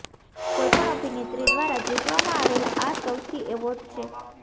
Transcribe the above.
કોઈપણ અભિનેત્રી દ્વારા જીતવામાં આવેલા આ સૌથી એવોર્ડ છે